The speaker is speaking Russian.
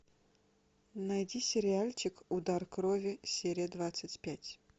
найди сериальчик удар крови серия двадцать пять